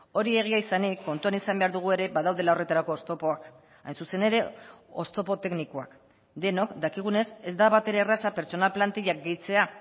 hori egia izanik kontuan izan behar dugu ere badaudela horretarako oztopoak hain zuzen ere oztopo teknikoak denok dakigunez ez da batere erraza pertsona plantillak gehitzea